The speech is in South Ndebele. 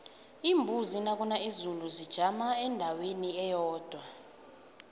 iimbuzi nakuna izulu zijama endaweni eyodwa